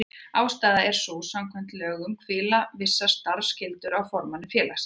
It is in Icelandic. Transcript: Ástæðan er sú að samkvæmt lögum hvíla vissar starfsskyldur á formanni félagsins.